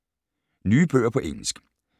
Nye bøger på engelsk